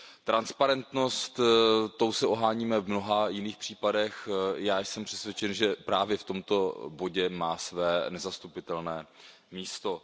Transparentností se oháníme v mnoha jiných případech, já jsem přesvědčen, že právě v tomto bodě má své nezastupitelné místo.